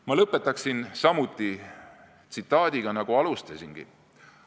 Ma lõpetan samuti tsitaadiga, nagu alustasingi.